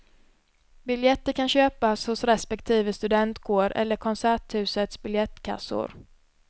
Biljetter kan köpas hos respektive studentkår eller konserthusets biljettkassor.